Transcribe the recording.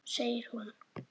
Segir hún.